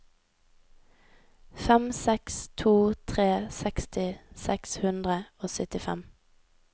fem seks to tre seksti seks hundre og syttifem